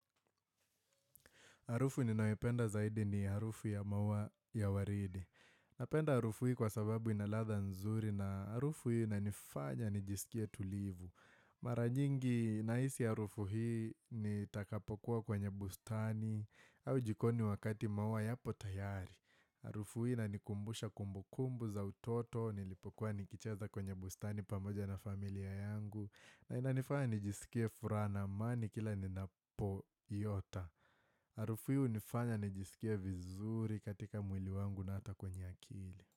Harufu niyopenda zaidi ni harufu ya maua ya waridi. Napenda harufu hii kwa sababu ina ladha nzuri na harufu hiinanifanya nijisikie tulivu. Mara nyingi nahisi harufu hii nitakapokuwa kwenye bustani au jikoni wakati maua yapo tayari. Harufu hii inanikumbusha kumbukumbu za utoto nilipokuwa nikicheza kwenye bustani pamoja na familia yangu. Na inanifanya nijisikie furaha na amani kila ninapoiota. Harufu hii unifanya nijisikie vizuri katika mwili wangu na ata kwenye akili.